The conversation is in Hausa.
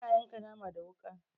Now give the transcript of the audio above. Ana yanka nama da wuƙa.